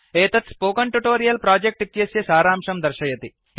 एतत् spoken tutorial project इत्यस्य सारांशं दर्शयति